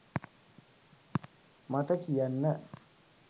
මට කියන්න.